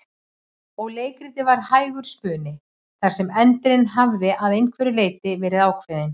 Og leikritið var hægur spuni þar sem endirinn hafði að einhverju leyti verið ákveðinn.